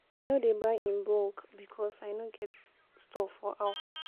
I no dey buy in bulk because I no get store for house.